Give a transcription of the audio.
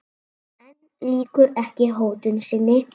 En lýkur ekki hótun sinni.